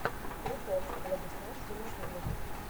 прикол владислав зимагулов